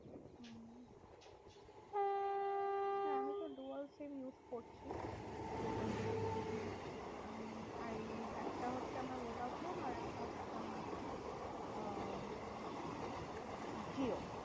হ্যাঁ আমিতো dual SIM use করছি। totally উম একটা হচ্ছে আমার ভোডাফোন আরেকটা হচ্ছে আমার আহ জিও।